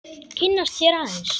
Kynnast þér aðeins.